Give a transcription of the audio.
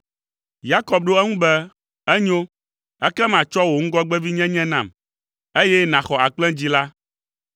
Yakob ɖo eŋu be, “Enyo, ekema tsɔ wò ŋgɔgbevinyenye nam, eye nàxɔ akplẽdzĩ la.”